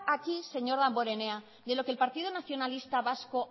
aquí señor damborenea de lo que el partido nacionalista vasco